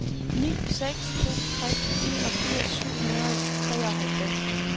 ni seks to tre enogfirs syv hundrede og treoghalvfems